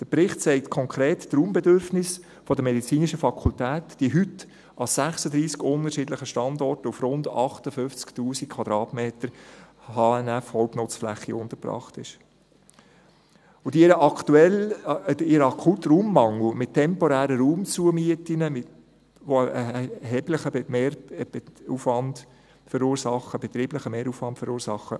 Der Bericht sagt konkret, dass die medizinische Fakultät, die heute an 36 unterschiedlichen Standorten auf rund 58 000 Quadratmetern Hauptnutzfläche (HNF) untergebracht ist, ihren akuten Raummangel mit temporären Raumzumieten ausgleicht, die einen erheblichen betrieblichen Mehraufwand verursachen.